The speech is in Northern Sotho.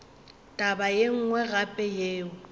taba ye nngwe gape yeo